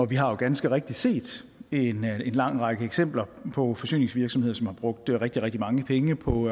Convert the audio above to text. vi har jo ganske rigtigt set en lang række eksempler på forsyningsvirksomheder som har brugt rigtig rigtig mange penge på